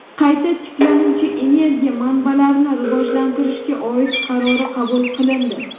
qayta tiklanuvchi energiya manbalarini rivojlantirishga oid qarori qabul qilindi.